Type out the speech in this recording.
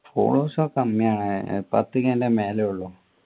followers ഒക്കെ കമ്മിയാണ് പത്തു k ൻ്റെ മേലെയെ ഉള്ളു